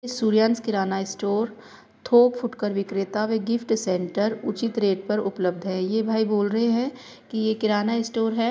सूर्यांश किराना स्टोर थोक फुटकर विक्रेता वे गिफ्ट सेंटर उचित रेट पर उपलब्ध है। ये भाई बोल रहे है कि ये किराना स्टोर है।